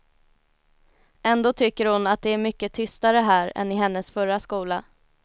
Ändå tycker hon att det är mycket tystare här än i hennes förra skola.